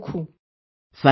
Thank you very much